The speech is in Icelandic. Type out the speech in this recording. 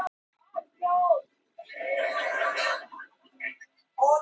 Hann hefði því hreina samvisku